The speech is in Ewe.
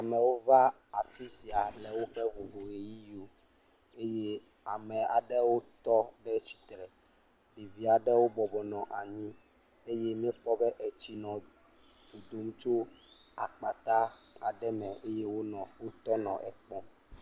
Amewo va afi sia le woƒe vovo ʋeyiʋiwo eye ame aɖewo tɔ tsitre. Ɖevi aɖewo bɔbɔ nɔ anyi eye míekpɔ be tsi nɔ dodom le akpata aɖe me eye wonɔ wotɔ nɔ ekpɔm.